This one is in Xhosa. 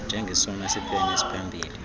njengesona siphene siphambili